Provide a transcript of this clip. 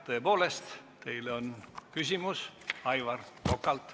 Tõepoolest, teile on küsimus Aivar Kokalt.